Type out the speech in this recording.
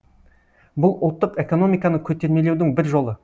бұл ұлттық экономиканы көтермелеудің бір жолы